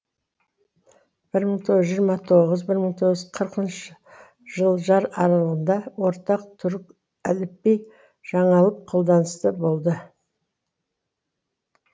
бір мың тоғыз жүз жиырма тоғыз бір мың тоғыз жүз қырқыншы жылжар аралығында ортақ түрік әліпби жаңаліп қолданыста болды